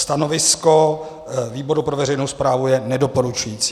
Stanovisko výboru pro veřejnou správu je nedoporučující.